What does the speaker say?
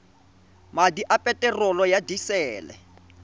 madi a peterolo ya disele